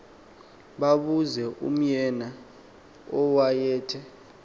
babuze umeana owayethe